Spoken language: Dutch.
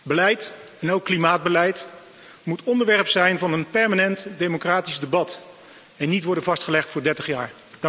Beleid, en ook klimaatbeleid, moet onderwerp zijn van een permanent democratisch debat en niet worden vastgelegd voor 30 jaar.